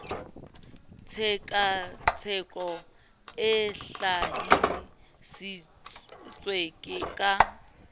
tshekatsheko e hlahi sitswe ka